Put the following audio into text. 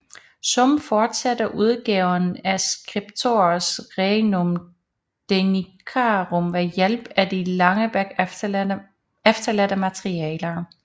Suhm fortsatte udgaven af Scriptores rerum Danicarum ved hjælp af de af Langebek efterladte materialer